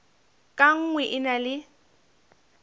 ka nngwe e na le